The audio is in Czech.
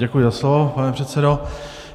Děkuji za slovo, pane předsedo.